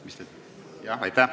Aitäh!